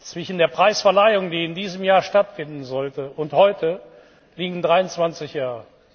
Zwischen der Preisverleihung, die in diesem Jahr stattfinden sollte, und heute liegen 23 Jahre.